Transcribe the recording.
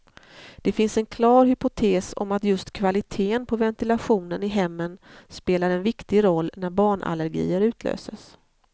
Det finns en klar hypotes om att just kvaliteten på ventilationen i hemmen spelar en viktig roll när barnallergier utlöses.